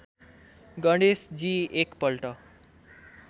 गणेशजी एक पल्ट